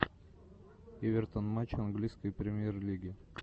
эвертон матч английской премьер лиги